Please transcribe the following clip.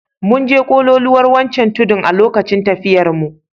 Mun je kololuwar wancan tudun a lokacin tafiyarmu.